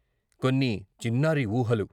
కొన్ని చిన్నారి ఊహలు...